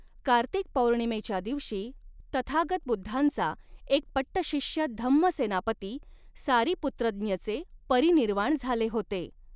कार्तिक पौर्णिमेच्या दिवशी तथागत बुद्धांचा एक पट्टशिष्य धम्म सेनापती सारिपुत्रज्ञचे परिनिर्वाण झाले होते.